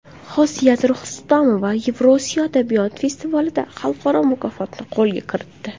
Xosiyat Rustamova Yevrosiyo adabiyot festivalida xalqaro mukofotni qo‘lga kiritdi.